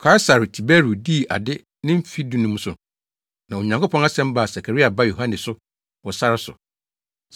Kaesare Tiberio dii ade ne mfe dunum so na Onyankopɔn asɛm baa Sakaria ba Yohane so wɔ sare so.